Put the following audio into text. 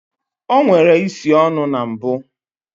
O nwere isi ọnụ na mbụ